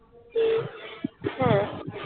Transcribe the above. ঠিক হ্যাঁ